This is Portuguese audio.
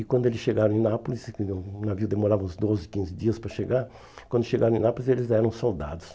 E quando eles chegaram em Nápoles, o navio demorava uns doze, quinze dias para chegar, quando chegaram em Nápoles, eles eram soldados.